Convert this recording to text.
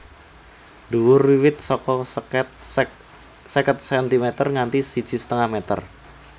Dhuwur wiwit saka seket cm nganti siji setengah meter